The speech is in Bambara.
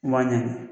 Waa ɲini